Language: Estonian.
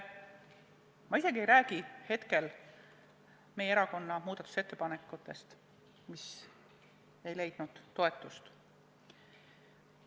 Ma isegi ei räägi praegu meie erakonna muudatusettepanekutest, mis ei leidnud toetust.